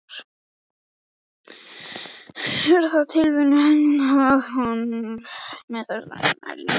Er það tilviljun að hann er með þessi ummæli núna?